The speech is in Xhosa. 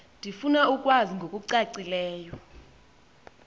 ndifuna ukwazi ngokucacileyo